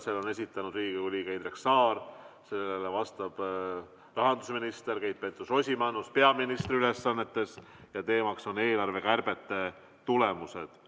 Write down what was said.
Selle on esitanud Riigikogu liige Indrek Saar, sellele vastab rahandusminister Keit Pentus-Rosimannus peaministri ülesannetes ja teema on eelarvekärbete tulemused.